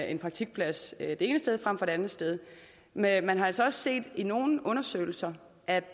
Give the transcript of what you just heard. en praktikplads det ene sted frem for et andet sted men man har altså også set i nogle undersøgelser at